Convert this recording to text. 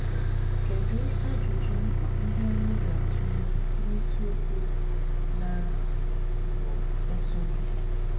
Kedụ ajụjụ ndị anyị ga - atụle n’isiokwu na - esonụ?